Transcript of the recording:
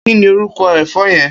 Kini órúkò èfò yèn?